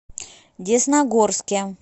десногорске